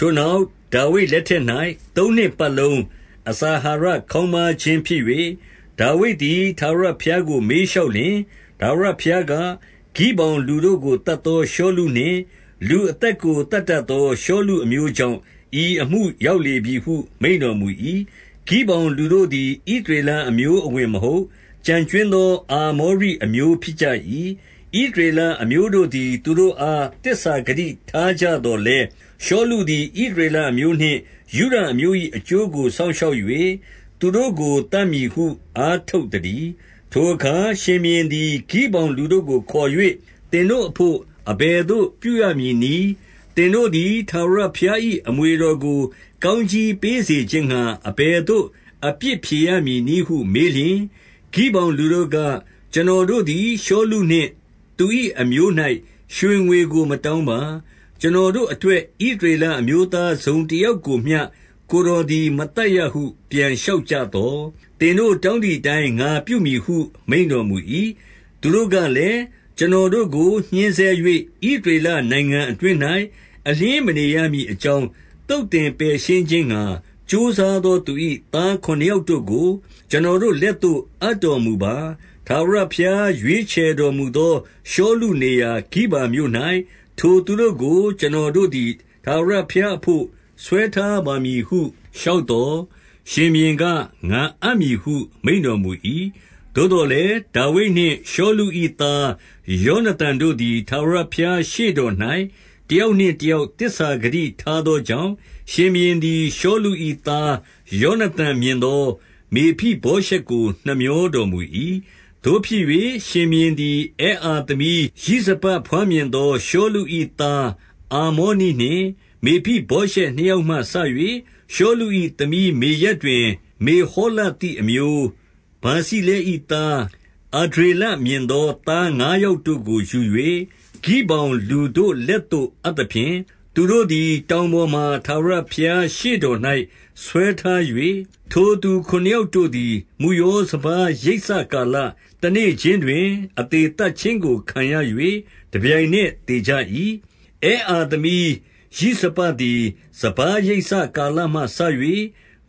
ထိုနောက်ဒါဝိဒ်လက်ထက်၌ သုံးနှစ်ပတ်လုံး အစာအာဟာရ ခေါင်းပါးခြင်းဖြစ်၍၊ ဒါဝိဒ်သည်ထာဝရ ဘုရားကို မေးလျှောက်လျှင်၊ ထာဝရဘုရားက၊ ဂိဗောင် လူတို့ကို သတ်သောရှောလုနှင့် လူအသက်ကို သတ်တတ် သော ရှောလုအမျိုးကြောင့် ဤအမှုရောက်လေပြီဟု မိန့်တော်မူ၏။ 2 ဂိဗောင်လူတို့သည် ဣသရေလအမျိုးအဝင် မဟုတ်၊ ကျန်ကြွင်းသော အာမောရိအမျိုးဖြစ်ကြ၏။ ဣသရေလအမျိုးတို့သည် သူတို့အား သစ္စာဂတိထားကြ သော်လည်း၊ ရှောလုသည် ဣသရေလအမျိုးနှင့် ယုဒ အမျိုး၏ အကျိုးကိုစောင့်ရှောက်၍ သူတို့ကို သတ်မည်ဟု အားထုတ် သတည်း။ 3 ထိုအခါ ရှင်ဘုရင်သည် ဂိဗောင်လူတို့ကို ခေါ်၍၊ သင်တို့အဘို့ အဘယ်သို့ပြုရမည်နည်း။ သင်တို့သည် ထာဝရဘုရား၏ အမွေတော်ကို ကောင်းကြီးပေးစေခြင်း ငှါ အဘယ်သို့အပြစ်ဖြေရမည်နည်းဟု မေးလျှင်၊ 4 ဂိဗောင်လူတို့က၊ ကျွန်တော်တို့သည်ရှောလုနှင့် သူ၏အမျိုး၌ရွှေငွေကိုမတောင်းပါ။ ကျွန်တော်တို့ အတွက် ဣသရေလအမျိုးသားတစုံတယောက်ကိုမျှ ကိုယ်တော်သည် မသတ်ရဟု ပြန်လျှောက်ကြသော်၊ သင်တို့ တောင်း သည်အတိုင်း ငါပြုမည်ဟု မိန့်တော်မူ၏။ 5 သူတို့ကလည်း၊ ကျွန်တော်တို့ကို ညှဉ်းဆဲ၍ ဣသရေလနိုင်ငံအတွင်း၌ အလျှင်းမနေရမည်အကြောင်း သုတ်သင်ပယ်ရှင်းခြင်းငှါ ကြိုးစားသောသူ၏။ 6 သားခုနစ်ယောက်တို့ကို ကျွန်တော်တို့လက်သို့ အပ်တော်မူပါ။ ထာဝရဘုရားရွေးချယ်တော်မူသော ရှောလုနေရာ ဂိဗာမြို့၌ ထိုသူတို့ကို ကျွန်တော်တို့သည် ထာဝရဘုရားအဘို့ ဆွဲထားပါမည်ဟု လျှောက်သော်၊ ရှင်ဘုရင်က ငါအပ်မည်ဟု မိန့်တော်မူ၏။ 7 သို့သော်လည်း ဒါဝိဒ်နှင့် ရှောလု၏သား ယောန သန်တို့သည် ထာဝရဘုရားရှေ့တော်၌ တယောက်နှင့် တယောက် သစ္စာဂတိထားသောကြောင့်၊ ရှင်ဘုရင်သည် ရှောလု၏သားယောနသန်မြင်သောမေဖိဗောရှက်ကို နှမြောတော်မူ၏။ 8 သို့ဖြစ်၍ ရှင်ဘုရင်သည် အဲအာသမီးရိဇပ ဘွားမြင်သော ရှောလု၏ သားအာမောနိနှင့် မေဖိ ဗောရှက်နှစ်ယောက်မှစ၍၊ ရှောလု၏ သမီးမေရပ်တွင် မေဟောလသိအမျိုး ဗာဇိလဲ၏ သားအဒြေလမြင်သော သားငါးယောက်တို့ကို ယူ၍၊ 9 ဂိဗောင်လူတို့လက်သို့အပ်သဖြင့်၊ သူတို့သည် တောင်ပေါ်တွင် ထာဝရဘုရားရှေ့တော်၌ ဆွဲထား၍၊ ထိုသူခုနစ်ယောက်တို့သည် မုယောစပါး ရိတ်စကာလ၊ တနေ့ခြင်းတွင် အသေသတ်ခြင်းကို ခံရ၍ တပြိုင်နက် သေကြ၏။ 10 အဲအာသမီး ရိဇပသည် စပါးရိတ်စကာလမှစ၍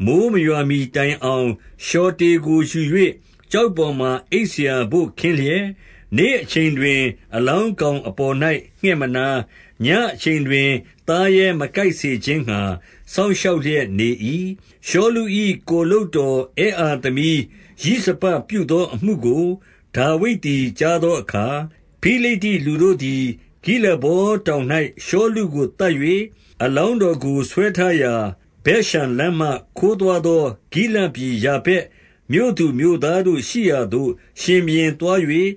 မိုဃ်းမရွာမှီတိုင်အောင် လျှော်တေကို ယူ၍ ကျောက်ပေါ် မှာ အိပ်စရာဘို့ခင်းလျက်၊ နေ့အချိန်တွင် အလောင်း ကောင်အပေါ်၌ငှက်မနား၊ ညဉ့်အချိန်တွင် သားရဲမကိုက် စေခြင်းငှါ စောင့်ရှောက်လျက်နေ၏။ 11 ရှောလု၏ကိုယ်လုပ်တော်အဲ အာသမီး ရိဇပပြု သော အမှုကို ဒါဝိဒ်သည် ကြားသောအခါ၊ 12 ဖိလိတ္တိလူတို့သည် ဂိလဗောတောင်၌ ရှောလုကို သတ်၍၊ အလောင်းတော်ကိုဆွဲထားရာ ဇက်ရှမ်လမ်းမှ ခိုးသွားသောဂိလဒ်ပြည်ယာဗက်မြို့သူမြို့သားတို့ရှိရာသို့ ရှင်ဘုရင်သွား၍၊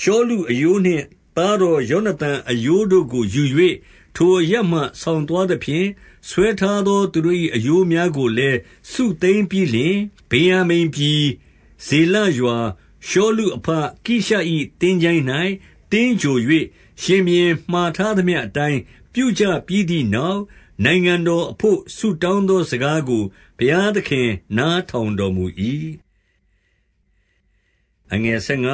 ရှောလုအရိုးနှင့် သားတော် ယောနသန်အရိုးတို့ကိုယူ၍၊ 13 ထိုအရပ်မှဆောင်သွားသဖြင့်၊ ဆွဲထားသော သူတို့၏ အရိုးများကိုလည်း စုသိမ်းပြီးလျှင်၊ 14 ဗင်္ယာမိန်ပြည်။ ဇေလရှာ၊ ရှောလုအဘ ကိရှ၏ သင်္ချိုင်း၌ သင်္ဂြိုဟ်၍၊ ရှင်ဘုရင်မှာထားသမျှအတိုင်း ပြုကြ ပြီးသည်နောက်၊ နိုင်ငံတော်အဘို့ ဆုတောင်းသော စကားကို ဘုရားသခင် နားထောင်တော်မူ၏။ 15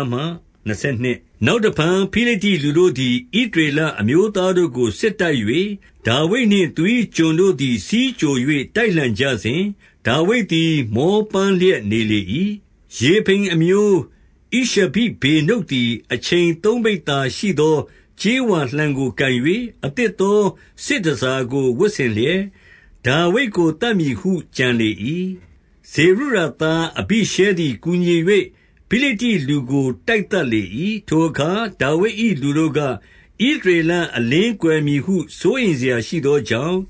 နောက်တဖန် ဖိလိတ္တိလူတို့သည် ဣသရေလ အမျိုးသားတို့ကို စစ်တိုက်၍ ၊ ဒါဝိဒ်နှင့်သူ၏ ကျွန်တို့ သည် ဆီးကြို၍ တိုက်လှန်ကြစဉ်၊ ဒါဝိဒ်သည် မောပန်း လျက်နေလေ၏။ 16 ရေဖိမ်အမျိုး ဣရှဗိဗေနုပ်သည် အချိန်သုံး ပိဿာရှိသော ကြေးဝါလှံကို ကိုင်၍၊ အသစ်သော စစ်တန်ဆာကို ဝတ်ဆင်လျက်ဒါဝိဒ်ကို သတ်မည်ဟု ကြံလေ၏။ 17 ဇေရုယာသားအဘိရှဲသည် ကူညီ၍ ဖိလိတ္တိ လူကို တိုက်သတ်လေ၏။ ထိုအခါ ဒါဝိဒ်၏ လူတို့က၊ ဣသရေလအလင်းကွယ်မည်ဟု စိုးရိမ်စရာရှိသော ကြောင့်၊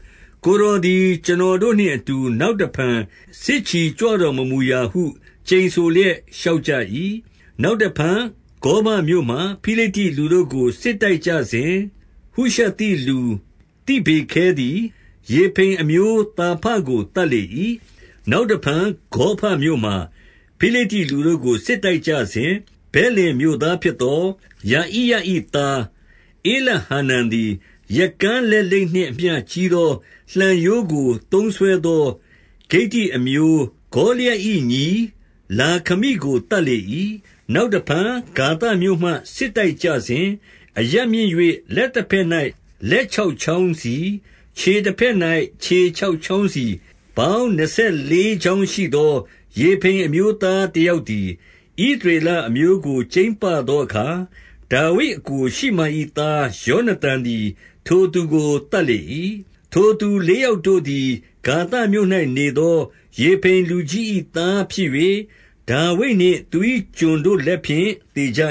ကိုယ်တော်သည် ကျွန်တော်တို့နှင့်အတူ နောက် တဖန် စစ်ချီကြွတော်မမူရာဟု ကျိန်ဆိုလျက် လျှောက် ကြ၏။ 18 နောက်တဖန် ဂေါဘမြို့မှာ ဖိလိတ္တိလူတို့ကို စစ်တိုက်ကြစဉ်၊ ဟုရှသိလူသိဗေခဲသည် ရေဖိမ်အမျိုးသာဖ ကို သတ်လေ၏။ 19 နောက်တဖန် ဂေါဘမြို့မှာ ဖိလိတ္တိလူတို့ကို စစ်တိုက်ကြစဉ်၊ ဗက်လင်မြို့သားဖြစ်သော ယဣရ၏သား ဧလဟာနန်သည် ရက်ကန်းလက်လိပ်နှင့် အမျှကြီးသောလှံရိုးကိုသုံးစွဲသော ဂိတ္တိအမျိုး ဂေါလျက်၏ ညီလာခမိ ကို သတ်လေ၏။ 20 နောက်တဖန် ဂါသမြို့မှ စစ်တိုက်ကြစဉ်၊ အရပ်မြင့်၍ လက်တဘက်၌ လက်ခြောက်ချောင်းစီ၊ ခြေ တဘက်၌ ခြေခြောက်ချောင်းစီ၊ ပေါင်းနှစ်ဆယ်လေး ချောင်းရှိသော ရေဖိမ်အမျိုးသားတယောက်သည်။ 21 ဣသရေလအမျိုးကို ကြိမ်းပသောအခါ၊ ဒါဝိဒ်အစ်ကိုရှိမာ၏ သားယောနသန်သည် ထိုသူကို သတ် လေ၏။ 22 ထိုသူလေးယောက်တို့သည် ဂါသမြို့၌နေသော ရေဖိမ်လူကြီး၏သားဖြစ်၍၊ ဒါဝိဒ်နှင့်သူ၏ကျွန်တို့ လက်ဖြင့် သေကြ